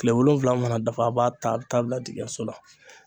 Kile wolonwula mana dafa a b'a ta a bi taa bila ndingiyɛnso la.